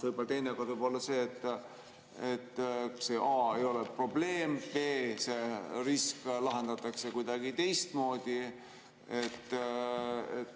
Teinekord võib olla see, et see a) ei ole probleem, b) see risk lahendatakse kuidagi teistmoodi.